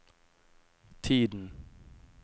tiden